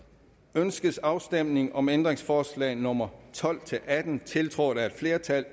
ønskes afstemning om ændringsforslag nummer tolv til atten tiltrådt af et flertal